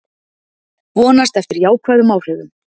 Vonast eftir jákvæðum áhrifum